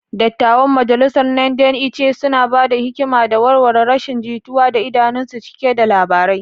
Dattawan majalisar Nde Ichie suna ba da hikima da warware rashin jituwa, idanunsu cike da labarai.